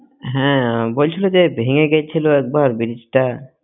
হ্যাঁ বলছিল যে ভেঙে গেছিল একবার brigde